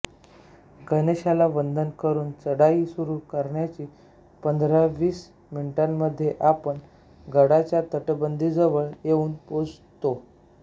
गणेशाला वंदन करून चढाई सुरू करायची पंधरावीस मिनिटांमधे आपण गडाच्या तटबंदीजवळ येऊन पोहोचतो